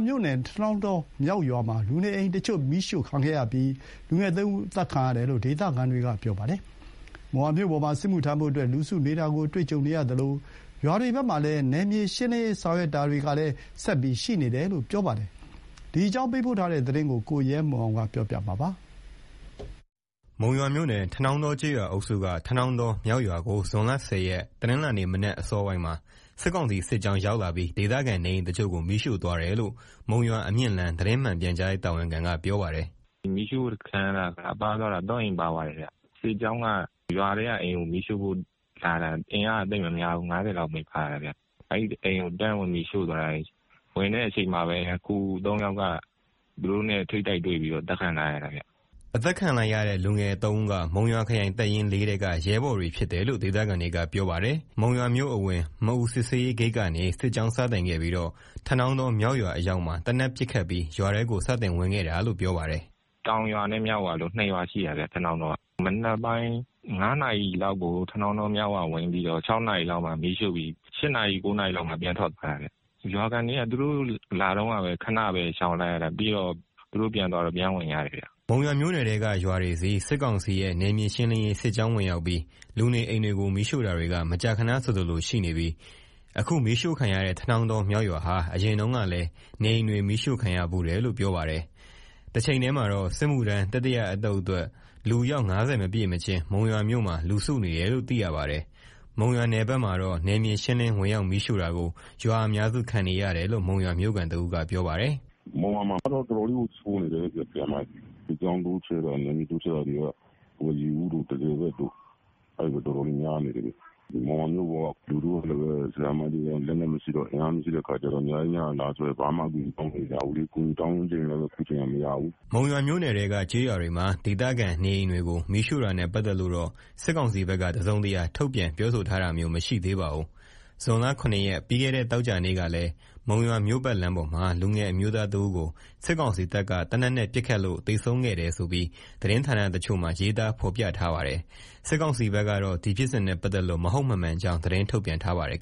မြို့နယ် ထနောင်းတောမြောက်ရွာမှာ လူနေအိမ်တချို့ မီးရှို့ခံရပြီး လူငယ် ၃ ဦး အသတ်ခံရတယ်လို့ ဒေသခံတွေက ပြောပါတယ်။ မုံရွာမြို့ပေါ်မှာ စစ်မှုထမ်းဖို့ လူစုဆောင်းနေတာရှိသလို ရွာတွေဘက်မှာတော့ နယ်မြေရှင်းလင်းစစ်ဆင်ရေးတွေရှိနေတယ်လို့ သိရပါတယ်။ မုံရွာဒေသအခြေအနေ သတင်းပေးပို့ချက်ကို ကိုရဲမွန်က တင်ပြပေးထားပါတယ်။ မုံရွာမြို့နယ်၊ ထနောင်းတောကျေးရွာအုပ်စုက ထနောင်းတောမြောက်ရွာကို ဇွန်လ ၁၀ ရက်၊ တနင်္လာနေ့ မနက်အစောပိုင်းမှာ စစ်ကောင်စီစစ်ကြောင်း ရောက်လာပြီး ဒေသခံနေအိမ်တချို့ကို မီးရှို့သွားတယ်လို့ မုံရွာ-အမြင့်လမ်း သတင်းမှန်ပြန်ကြားရေး တာဝန်ခံက ပြောပါတယ်။ "မီးရှို့ခံရတာက ပါသွားတာ ၃ အိမ် ပါသွားတယ်ဗျ။ စစ်ကြောင်းက ရွာထဲကအိမ်ကို မီးရှို့ဖို့လာတာ။ အင်အားက သိပ်မများဘူး၊ ၅၀ လောက်ပဲပါတာဗျ။ အဲဒီအိမ်ကို တန်းဝင်ပြီးရှို့သွားတာ။ ဝင်တဲ့အချိန်မှာပဲ လူငယ် ၃ ယောက်က သူတို့နဲ့ ထိပ်တိုက်တွေ့ပြီး အသတ်ခံလိုက်ရတာဗျ။" အသတ်ခံလိုက်ရတဲ့ လူငယ် ၃ ဦးက မုံရွာခရိုင်တပ်ရင်း ၄ ထဲက ရဲဘော်တွေဖြစ်တယ်လို့ ဒေသခံတွေက ပြောပါတယ်။ မုံရွာမြို့အဝင် မအူစစ်ဆေးရေးဂိတ်ကနေ စစ်ကြောင်းစတင်ခဲ့ပြီးတော့ ထနောင်းတောမြောက်ရွာ အရောက်မှာ သေနတ်ပစ်ခတ်ပြီး ရွာထဲကို စတင်ဝင်ခဲ့တာလို့ ပြောပါတယ်။ "တောင်ရွာနဲ့ မြောက်ရွာဆိုပြီး ၂ ရွာရှိတာဗျ၊ ထနောင်းတောက။ စစ်ကောင်စီတပ်က မနက်ပိုင်း ၅ နာရီလောက်ကို ထနောင်းတောမြောက်ရွာ ဝင်ပြီးတော့ ၆ နာရီလောက်မှာ မီးရှို့ပြီး ၈ နာရီ၊ ၉ နာရီလောက်မှာ ပြန်ထွက်သွားတာဗျ။ ရွာခံတွေက သူတို့လာတုန်းကပဲ ခဏရှောင်လိုက်ရတာ။ သူတို့ပြန်သွားတော့ ပြန်ဝင်ကြတယ်ဗျ။" မုံရွာမြို့နယ်ထဲက ရွာတွေဆီ စစ်ကောင်စီရဲ့ နယ်မြေရှင်းလင်းရေး စစ်ကြောင်းဝင်ရောက်ပြီး လူနေအိမ်တွေကို မီးရှို့တာတွေက မကြာခဏဆိုသလို ရှိနေပြီး အခု မီးရှို့ခံရတဲ့ ထနောင်းတောမြောက်ရွာဟာ အရင်တုန်းကလည်း နေအိမ်တွေ မီးရှို့ခံရဖူးတယ်လို့ ပြောပါတယ်။ တချိန်တည်းမှာတော့ စစ်မှုထမ်း တတိယအသုတ်အတွက် လူအယောက် ၅၀ မပြည့်မချင်း မုံရွာမြို့မှာ လူစုနေတယ်လို့ သိရပါတယ်။ မုံရွာနယ်ဖက်မှာတော့ နယ်မြေရှင်းလင်း ဝင်ရောက်မီးရှို့တာကို ရွာအများစု ခံနေရတယ်လို့ မုံရွာမြို့ခံတဦးက ပြောပါတယ်။ "မုံရွာမှာကတော့ တော်တော်လေးကို ဆိုးနေတယ်။ ရွာတွေဘက်မှာ မီးရှို့တာတွေလည်းရှိတယ်။ စစ်ကြောင်းတိုးချဲ့တာ နယ်မြေတိုးချဲ့တာတွေက ရေဦးနဲ့ တန့်ဆည်ဘက်မှာလည်း တော်တော်လေးများနေတယ်။ မုံရွာမြို့မှာက လူထုကလည်းပဲ လက်နက်အင်အား မရှိတဲ့အခါကျတော့ ညကြီးညတာ လာဆွဲရင်လည်း ဘာမှအကူအညီ တောင်းလို့မရဘူးလေ။ အကူအညီ တောင်းချင်လည်းပဲ အခုချိန်က မရဘူး။" မုံရွာမြို့နယ်ထဲက ကျေးရွာတွေမှာ ဒေသခံနေအိမ်တွေကို မီးရှို့တာနဲ့ ပတ်သက်လို့တော့ စစ်ကောင်စီဘက်က တစုံတရာထုတ်ပြန် ပြောဆိုထားတာမျိုး မရှိသေးပါဘူး။ ဇွန်လ ၇ ရက်၊ ပြီးခဲ့တဲ့ သောကြာနေ့ကလည်း မုံရွာမြို့ပတ်လမ်းပေါ်မှာ လူငယ်အမျိုးသားတဦးကို စစ်ကောင်စီတပ်က သေနတ်နဲ့ပစ်ခတ်လို့ သေဆုံးခဲ့တယ်ဆိုပြီး သတင်းဌာနတချို့မှာ ရေးသားဖော်ပြထားပါတယ်။ စစ်ကောင်စီဘက်ကတော့ ဒီဖြစ်စဉ်နဲ့ ပတ်သက်လို့ မဟုတ်မမှန်ကြောင်း သတင်းထုတ်ပြန်ထားပါတယ်